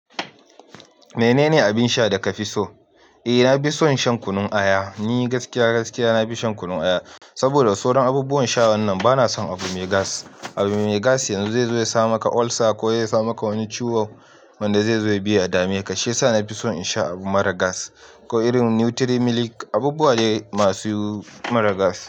Menene abin sha da kafi so? Eh, na fi son shan kunun aya, ni gaskiya gaskiya nafi shan kunun aya. Saboda sauran abubuwan sha wannan bana son abu mai gas. Abu mai gas yanzu zai zo ya sa maka ulcer ko zai sa maka wani ciwo wanda zai zo ya biya dameka. Ka shi yasa na fi son in sha abu mara gas ko irin nutri milk, abubuwa dai masu mara gas.